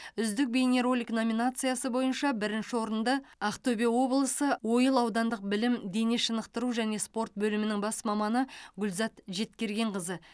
үздік бейнеролик номинациясы бойынша бірінші орынды ақтөбе облысы ойыл аудандық білім дене шынықтыру және спорт бөлімінің бас маманы гүлзат жеткергенқызы